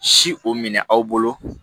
Si o minɛ aw bolo